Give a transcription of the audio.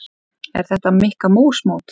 Er þetta Mikka mús mót?